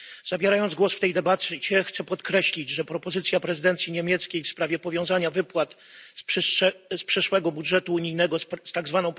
Zabierając głos w tej debacie, chcę podkreślić, że propozycja prezydencji niemieckiej w sprawie powiązania wypłat z przyszłego budżetu unijnego z tzw.